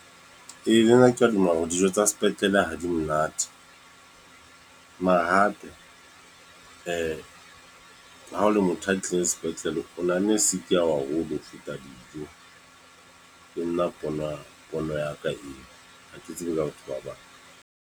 Ee, le nna ke a dumela hore dijo tsa sepetlele ha di monate. Mare hape, ha o le motho a tlileng sepetlele, o nahanne sick ya hao haholo ho feta dijo. Ke nna pona, pono ya ka eo. Ha ke tsebe ka batho ba bang.